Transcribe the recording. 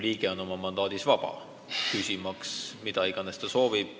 Riigikogu liige oma mandaadiga on vaba küsima, mida iganes soovib.